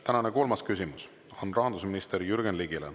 Tänane kolmas küsimus on rahandusminister Jürgen Ligile.